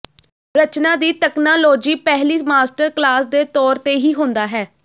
ਰਚਨਾ ਦੀ ਤਕਨਾਲੋਜੀ ਪਹਿਲੀ master class ਦੇ ਤੌਰ ਤੇ ਹੀ ਹੁੰਦਾ ਹੈ